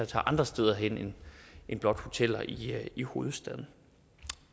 tage andre steder hen end blot til hoteller i hovedstaden